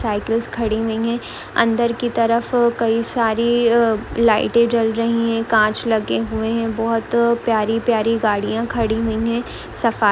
cycles खड़ी नहीं है अंदर की तरफ कई सारी लाइट जल रही है कांच लगे हुए है बहुत प्यारी प्यारी गाड़ियां खड़ी हुई है सफाई --